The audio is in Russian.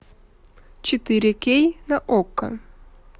четыре кей на окко